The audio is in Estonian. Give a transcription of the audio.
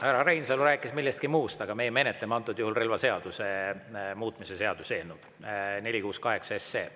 Härra Reinsalu rääkis millestki muust, aga meie menetleme antud juhul relvaseaduse muutmise seaduse eelnõu 468.